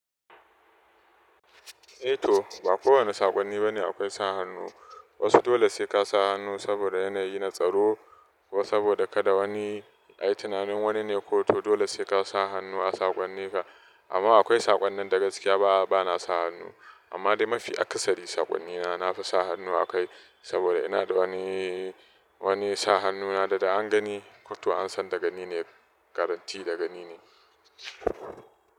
Eh to ba kowane saƙonni bane akwai sa hannu. Wasu dole sai ka sa hannu saboda yanayi na tsaro ko saboda kada wani a yi tunanin wani ne. Ko to dole sai ka sa hannu a saƙonninka. Amma akwai saƙonnin da gaskiya bana sa hannu. Amma dai mafi aksari saƙonnina na fi sa hannu akai saboda ina da wani, wani sa hannuna da an gani ko to an san da gani ne garanti daga ni ne.